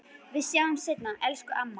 Við sjáumst seinna, elsku amma.